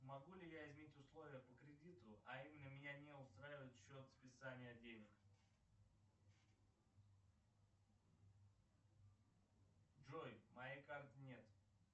могу ли я изменить условия по кредиту а именно меня не устраивает счет списания денег джой моей карты нет